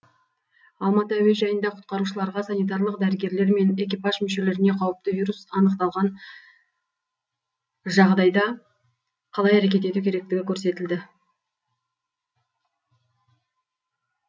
алматы әуежайында құтқарушыларға санитарлық дәрігерлер мен экипаж мүшелеріне қауіпті вирус анықталған жағдайда қалай әрекет ету керектігі көрсетілді